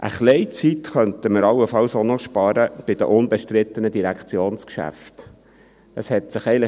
Ein wenig Zeit könnten wir allenfalls auch noch bei den unbestrittenen Direktionsgeschäften sparen.